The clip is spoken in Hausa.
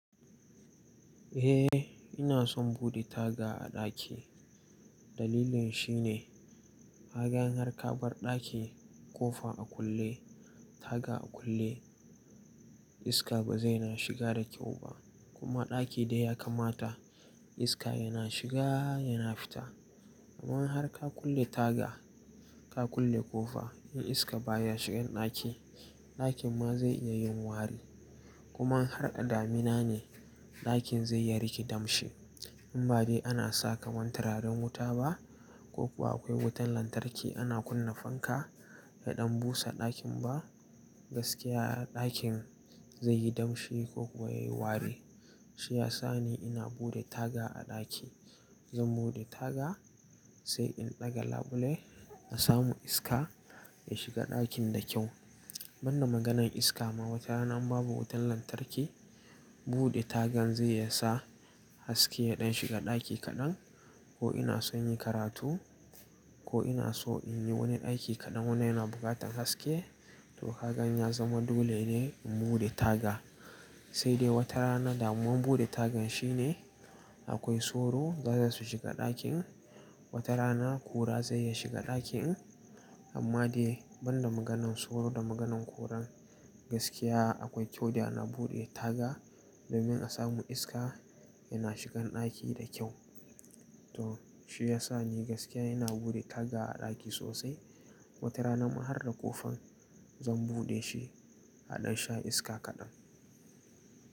Eh ina son bude taga a ɗaki. Dalilin shi ne, hakan har ka bar ɗaki kofa a kulle, taga a kulle, iska ba zai na shiga da kyau ba. Kuma ɗaki da ya kamata iska yana shiga yana fita. Aman har ka kulle taga ka kulle ƙofa in iska baya shigan ɗaki, ɗakin ma zai iya yin wari. Kuma in har addamina ne, ɗakin zai iya riƙe damshi. In ba dai ana sa kaman tararen wuta ba ko kuwa akwai wutan lantarki ana kunna fanka ya ɗan busa ɗakin ba gaskiya ɗakin zai yi damshi ko kuwa yayi wari. Shi ya sa ne ina bude taga a ɗaki. Zan bude taga sai in ɗaga labule in samu iska ya shiga ɗakin da kyau. Ban da maganan iska ma wata rana babu wutan lantarki bude tagan zai yasa haske ya ɗan shiga ɗaki kaɗan ko ina son yi karatu ko ina so in yi wani aiki kaɗan wanda yana buƙatar haske to hakan ya zama dole ne in bude taga. Sai dai watarana damuwan bude tagan shi ne akwai soro za su shiga ɗakin, wata rana kura zai ya shiga ɗakin. Amma dai banda maganan soro da maganan kuran gaskiya akwai kyau da yana buɗe taga domin a samu iska yana shigan ɗaki da kyau. To shi ya sa ni gaskiya ina bude taga a ɗaki sosai. Wata rana man har da ƙofan zan buɗe shi a ɗan sha iska kaɗan.